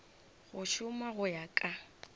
go šoma go ya ka